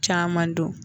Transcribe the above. Caman don